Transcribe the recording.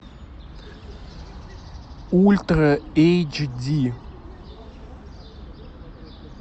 ультра эйч ди